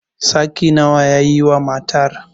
saki nawa ya yi wa matar?